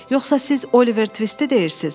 Yoxsa siz Oliver Tvisti deyirsiz?